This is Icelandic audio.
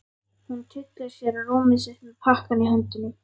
Hún tyllir sér á rúmið sitt með pakkann í höndunum.